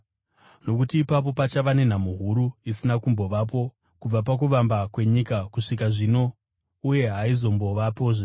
Nokuti ipapo pachava nenhamo huru isina kumbovapo kubva pakuvamba kwenyika kusvika zvino uye haizombovapozve.